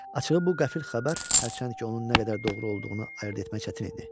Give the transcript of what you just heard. Açığı bu qəfil xəbər hərçənd ki, onun nə qədər doğru olduğunu ayırd etmək çətin idi.